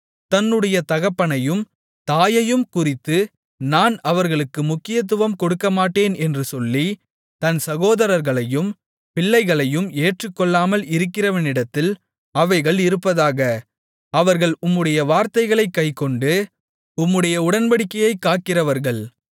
தன்னுடைய தகப்பனையும் தாயையும் குறித்து நான் அவர்களுக்கு முக்கியத்துவம் கொடுக்கமாட்டேன் என்று சொல்லி தன் சகோதரர்களையும் பிள்ளைகளையும் ஏற்றுக்கொள்ளாமல் இருக்கிறவனிடத்தில் அவைகள் இருப்பதாக அவர்கள் உம்முடைய வார்த்தைகளைக் கைக்கொண்டு உம்முடைய உடன்படிக்கையைக் காக்கிறவர்கள்